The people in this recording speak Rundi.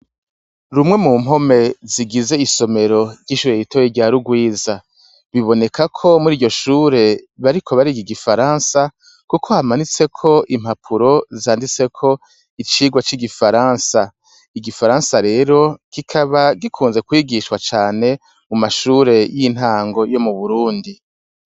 Rumwe mumpome zigiz' isomero, ry'ishure ritoya rya rugwiza, bibonekako muriryo shure bariko barig'igifaransa, kuko hamanitsek' impapuro zanditsek' icigwa c' igifaransa. Igifaransa rero , kikaba gikunzwe kwigishwa cane mu mashure y'intango yo mu Burundi.